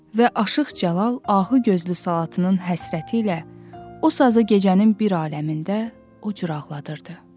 Və Aşıq Cəlal ahu gözlü Salatının həsrəti ilə o sazı gecənin bir aləmində, o cür ağladırdı.